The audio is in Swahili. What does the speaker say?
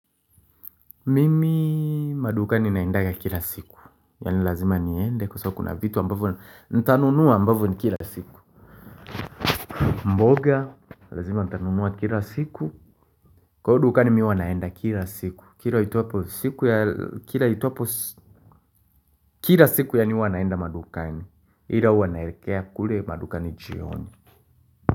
Mimi madukani naendanga kila siku Yaani lazima niende kwasababu kuna vitu ambavyo nitanunua ambavyo ni kila siku mboga Lazima nitanunua kila siku Kwa hiyo dukani mimi huwa naenda kila siku Kila siku yaani huwa wanaenda madukani Ila huwa naelekea kule madukani jioni.